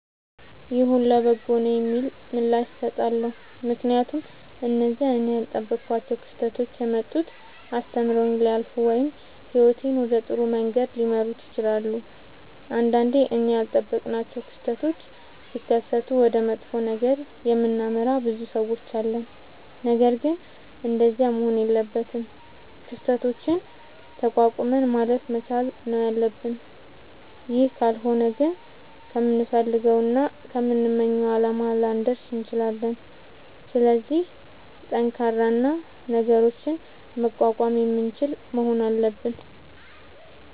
ይሁን ለበጎ ነዉ የሚል ምላሽ እሠጣለሁ። ምክንያቱም እነዚያ እኔ ያልጠበኳቸዉ ክስተቶች የመጡት አስተምረዉኝ ሊያልፉ ወይም ህይወቴን ወደ ጥሩ መንገድ ሊመሩት ይችላሉ። ንዳንዴ እኛ ያልጠበቅናቸዉ ክስተቶች ሢከሠቱ ወደ መጥፎ ነገር የምናመራ ብዙ ሠዎች አለን። ነገርግን እንደዚያ መሆን የለበትም። ክስተቶችን ተቋቁመን ማለፍ መቻል ነዉ ያለብን ይህ ካልሆነ ግን ከምንፈልገዉና ከምንመኘዉ አላማ ላንደርስ እንችላለን። ስለዚህ ጠንካራ እና ነገሮችን መቋቋም የምንችል መሆን አለብን።